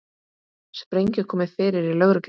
Sprengju komið fyrir í lögreglubíl